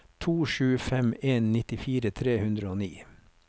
to sju fem en nittifire tre hundre og ni